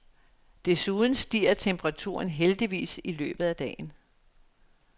Desuden stiger temperaturen heldigvis i løbet af dagen.